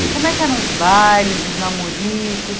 Isso Como é que eram os bailes, os namoricos?